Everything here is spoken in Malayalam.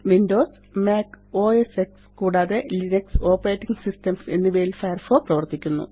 വിൻഡോസ് മാക് ഓഎസ്എക്സ് കൂടാതെ ലിനക്സ് ഓപ്പറേറ്റിംഗ് സിസ്റ്റംസ് എന്നിവയില് ഫയർഫോക്സ് പ്രവര്ത്തിക്കുന്നു